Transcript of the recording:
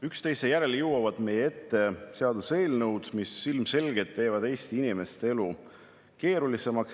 Üksteise järel jõuavad meie ette seaduseelnõud, mis ilmselgelt teevad Eesti inimeste elu keerulisemaks.